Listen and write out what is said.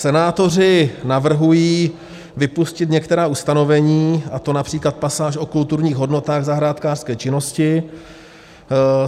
Senátoři navrhují vypustit některá ustanovení, a to například pasáž o kulturních hodnotách zahrádkářské činnosti.